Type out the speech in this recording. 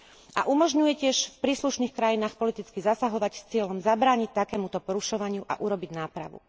A umožňuje tiež v príslušných krajinách politicky zasahovať s cieľom zabrániť takémuto porušovaniu a urobiť nápravu.